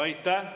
Aitäh!